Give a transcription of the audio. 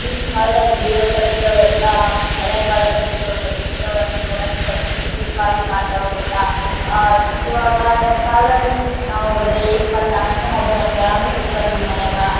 ಈಗಿನ್ ಕಾಲ್ದಾಗ ಗುಡಿಗಳನ್ನು ಕಟ್ಟ್ಸಿರೋವೆಲ್ಲ ಹಳೆ ಕಾಲದಲ್ ಗುಡಿಗಳನ್ನು ಕಟ್ಟಿರೋವನ್ನ ನೋಡಕ್ಕೆ ಕಣ್ಣಿಗೆ ಎಷ್ಟು ಇಂಪಾಗಿ ಕಣ್ತಾವೇ ಗೊತ್ತ. ಆಹ್ಹ್ಹ್ ಇವಾಗ ಕಾಲದಲ್ಲಿ ನಾವು ಬರಿಯ ಇಪ್ಪತ್ ನಾಲ್ಕು ಗಂಟೆ ಮೊಬೈಲ್ ನೋಡ್ಕಂತಾ ಕುಂತ್ಕೊಂಡು ನೋಡ್ತಿವಿ ಮನೆಗ .